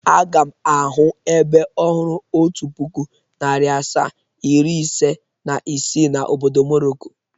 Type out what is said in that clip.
Aga m ahụ ebe ọhụrụ otu puku, nari asaa, iri, ise na isii na obodo Morocco.